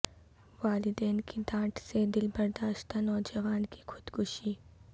والدین کی ڈانٹ سے دل برداشتہ نوجوان کی خودکشی